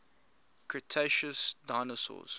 cretaceous dinosaurs